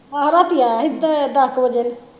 ਆਹੋ ਰਾਤੀ ਆਇਆ ਹੀ ਦਹ ਕਿ ਵਜੇ